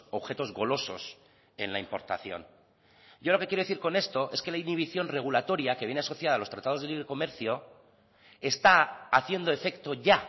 objetos golosos en la importación yo lo que quiero decir con esto es que la inhibición regulatoria que viene asociada a los tratados de libre comercio está haciendo efecto ya